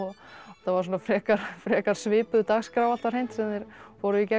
var frekar frekar svipuð dagskrá alltaf hreint sem þeir fóru í gegnum